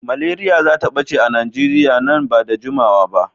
Malaria zata ɓace a Najeriya man ba da jimawa ba.